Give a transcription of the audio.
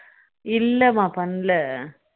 இல்லமா பண்ணல